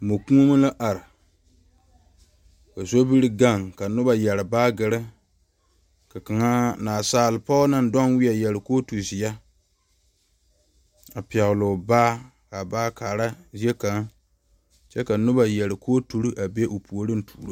moɔ koɔmo la are, ka sobiri gaŋ ka noba yɛre baagere, ka naasaalpɔge naŋ de wie yɛre kooti zeɛ a pɛgeli o baa kaa baa kaara zie kaŋa kyɛ ka noba yɛre kooturi a be o puoriŋ a tuuro o.